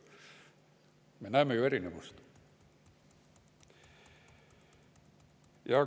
Me näeme ju erinevust.